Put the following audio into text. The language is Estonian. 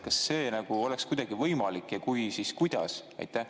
Kas see oleks kuidagi võimalik ja kui, siis kuidas?